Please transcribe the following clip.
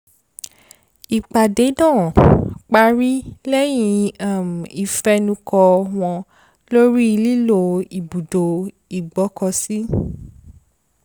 ìpàdé náà parí lẹ́yìn um ifẹnukò wọn lórí lílo ibùdó ìgbọ́kọ̀sí